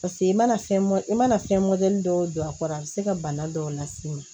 Paseke i mana fɛn i mana fɛn dɔw don a kɔrɔ a bɛ se ka bana dɔw las'i ma